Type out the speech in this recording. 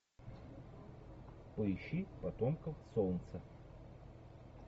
поищи потомков солнца